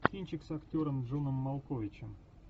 кинчик с актером джоном малковичем